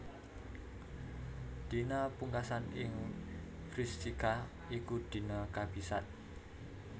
Dina pungkasan ing Vrishika iku dina kabisat